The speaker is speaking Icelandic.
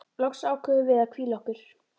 Loks ákváðum við að hvíla okkur.